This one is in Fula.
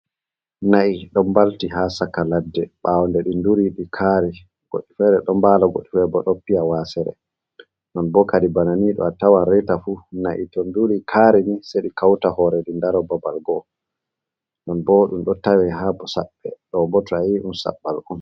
Na'ii ɗon mbalti ha saka ladde ɓawo nde ɗii duri ɗi kari goɗɗi fere ɗi ɗo mbali goɗɗi bo ɗo piya wasere non bo kadi banani ɗo atawan reita fu na'ii to nduri kari ni se ɗi kawtal hore ɓeɗo dari babal gowo non bo ɗum ɗo tawe bo ha saɓɓe ɗobo to ayi bo a andi saɓɓalɗo on.